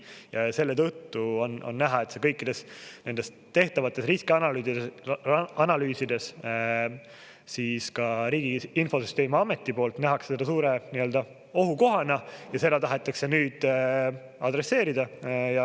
Ja selle tõttu on näha see kõikides nendes tehtavates riskianalüüsides, ka Riigi Infosüsteemi Ameti poolt nähakse seda suure ohukohana ja seda tahetakse nüüd adresseerida.